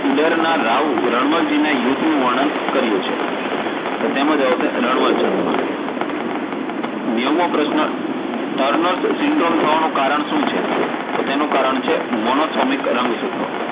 ઇડર ના રાવ રમાજીને યુધ્ધનું વર્ણન કર્યું છે? તો તેમાં જવાબ આવશે રણોત્સંગ માં નેવુમો પ્રશ્ન turner syndrome થવાનું કારણ શું છે? તો તેનું કારણ છે Monosomic રંગસૂત્રો.